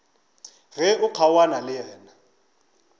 ge o kgaogana le yena